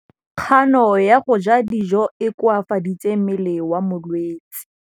Kganô ya go ja dijo e koafaditse mmele wa molwetse.